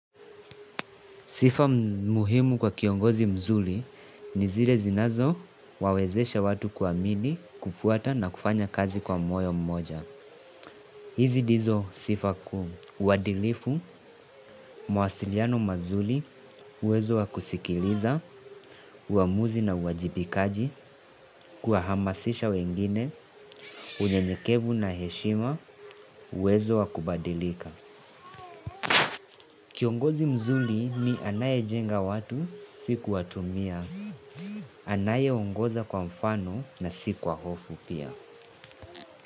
Sifa muhimu kwa kiongozi mzuri ni zile zinazowawezesha watu kuamini, kufuata na kufanya kazi kwa moyo mmoja. Hizi ndizo sifa kuu uadilifu, mawasiliano mazuri, uwezo wa kusikiliza, uamuzi na uwajibikaji, kuwahamasisha wengine, unyenyekevu na heshima, uwezo wa kubadilika. Kiongozi mzuri ni anaye jenga watu si kuwatumia, anayeongoza kwa mfano na siku wa hofu pia.